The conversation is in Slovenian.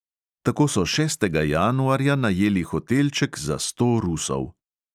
Tako so šestega januarja najeli hotelček za sto rusov.